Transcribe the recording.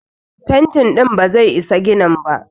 Fenti ɗin ba zai isa ginin ba.